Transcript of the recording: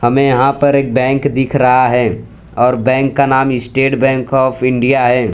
हमें यहाँ पर एक बैंक दिख रहा हैं और बैंक का नाम इस्टेट बैंक ऑफ इंडिया हैं।